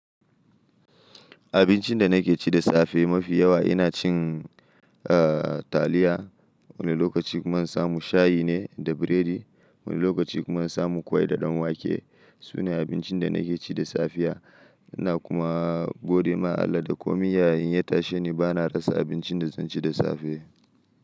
Abincin da nake ci da safe mafi yawa ina cin, eh, taliya. Wani lokaci kuma na samu shayi ne da biredi. Wani lokaci kuma na samu kwai da ɗanwake. Sune abincin da nake ci da safiya. Ina kuma gode ma Allah da kuma iyaye inna tashe ni ba na rasa abincin da zan ci da safe.